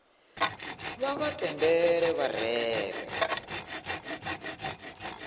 vha vha tendele vha rere